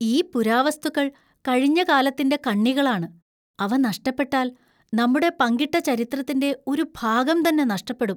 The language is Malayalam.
ഈ പുരാവസ്തുക്കൾ കഴിഞ്ഞ കാലത്തിന്‍റെ കണ്ണികളാണ്, അവ നഷ്ടപ്പെട്ടാല്‍, നമ്മുടെ പങ്കിട്ട ചരിത്രത്തിന്റെ ഒരു ഭാഗം തന്നെ നഷ്‌ടപ്പെടും.